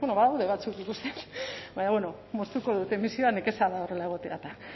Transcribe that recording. bueno badaude batzuk ikusten baina moztuko dut emisioa nekeza da horrela egotea eta